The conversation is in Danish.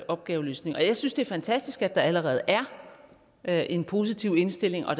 opgaveløsning jeg synes det er fantastisk at der allerede er er en positiv indstilling og